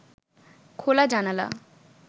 খোলা জানালা